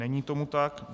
Není tomu tak.